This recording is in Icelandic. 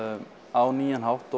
á nýjan hátt